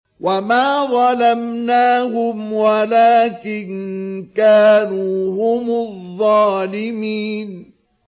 وَمَا ظَلَمْنَاهُمْ وَلَٰكِن كَانُوا هُمُ الظَّالِمِينَ